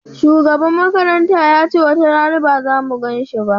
Shugaban makaranta yace watarana ba zamu ganin shi ba